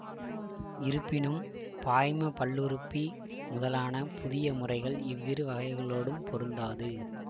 இருப்பினும்பாய்ம பல்லுறுப்பி முதலான புதிய முறைகள் இவ்விரு வகைகளோடும் பொருந்தாது